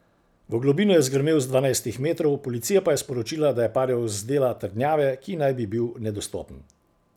V globino je zgrmel z dvajsetih metrov, policija pa je sporočila, da je padel z dela trdnjave, ki naj bi bil nedostopen.